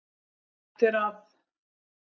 Hægt er að